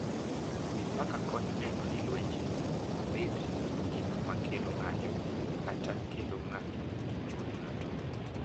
Mipaka konyo neno ni lwenje ok bed gik ma kelo ng’anjo kata kelo ng’anjo e chuny ng’ato.